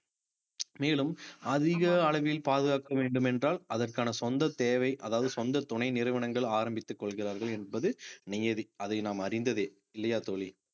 மேலும் அதிக அளவில் பாதுகாக்க வேண்டும் என்றால் அதற்கான சொந்த தேவை அதாவது சொந்த துணை நிறுவனங்கள் ஆரம்பித்துக் கொள்கிறார்கள் என்பது நியதி அதை நாம் அறிந்ததே இல்லையா தோழி